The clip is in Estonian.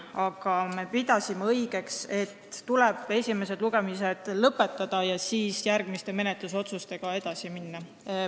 Aga me pidasime õigeks, et esimesed lugemised tuleb lõpetada ja siis menetlusotsustega edasi minna.